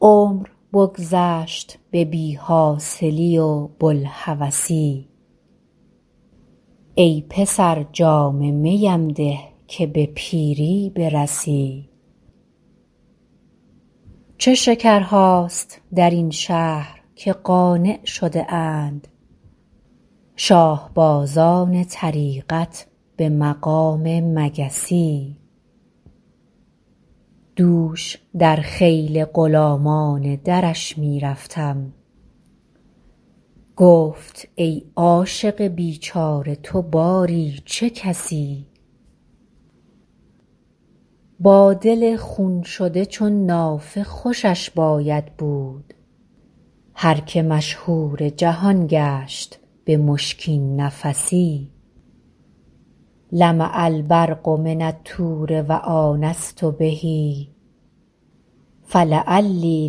عمر بگذشت به بی حاصلی و بوالهوسی ای پسر جام می ام ده که به پیری برسی چه شکرهاست در این شهر که قانع شده اند شاه بازان طریقت به مقام مگسی دوش در خیل غلامان درش می رفتم گفت ای عاشق بیچاره تو باری چه کسی با دل خون شده چون نافه خوشش باید بود هر که مشهور جهان گشت به مشکین نفسی لمع البرق من الطور و آنست به فلعلی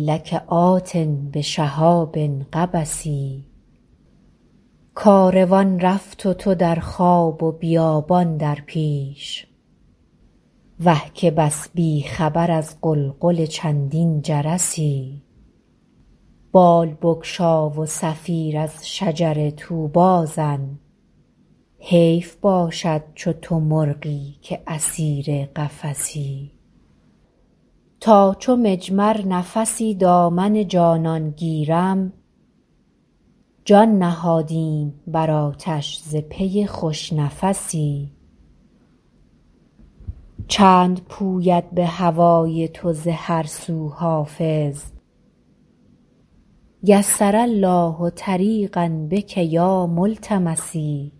لک آت بشهاب قبس کاروان رفت و تو در خواب و بیابان در پیش وه که بس بی خبر از غلغل چندین جرسی بال بگشا و صفیر از شجر طوبی زن حیف باشد چو تو مرغی که اسیر قفسی تا چو مجمر نفسی دامن جانان گیرم جان نهادیم بر آتش ز پی خوش نفسی چند پوید به هوای تو ز هر سو حافظ یسر الله طریقا بک یا ملتمسی